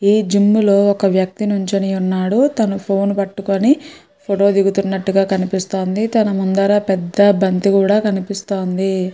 ఈ జిమ్ లో ఒక వక్తి నించొని ఉన్నాడు. తాను ఫోన్ పట్టుకొని ఫోటో దిగుతున్నటుగా కనిపిస్తోంది తాను ముందర పెద్ద బంతి కూడా కనిపిస్తోంది. .